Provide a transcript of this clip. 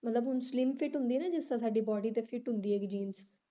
ਮਤਲਬ ਹੁਣ slim fit ਹੁੰਦੀਆਂ ਨਾ ਜਿਸ ਤਰਾਂ ਸਾਡੀ body ਤੇ fit ਹੁੰਦੀ ਹੈ jeans